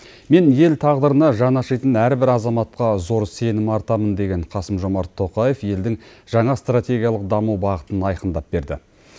мен ел тағдырына жаны ашитын әрбір азаматқа зор сенім артамын деген қасым жомарт тоқаев елдің жаңа стратегиялық даму бағытын айқындап берді